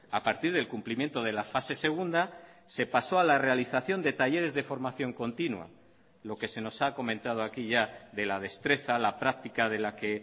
a partir del cumplimiento de la fase segunda se pasó a la realización de talleres de formación continua lo que se nos ha comentado aquí ya de la destreza la práctica de la que